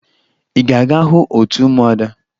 Ị ga-aga hụ otu ụmụada?